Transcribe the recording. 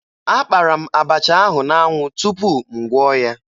Akpara m abacha ahụ n'anwụ tupu m gwọọ ya